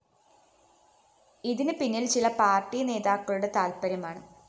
ഇതിന് പിന്നില്‍ ചില പാര്‍ട്ടി നേതാക്കളുടെ താത്പര്യമാണ്